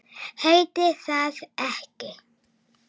Heitir það ekki